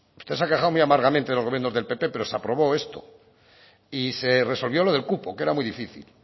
usted se ha quejado muy amargamente de los gobiernos del pp pero se aprobó esto y se resolvió lo del cupo que era muy difícil